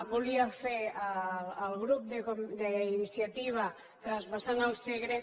volia fer el grup d’iniciativa transvasant el segre